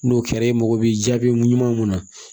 N'o kɛra e mago bɛ jaabi ɲuman mun na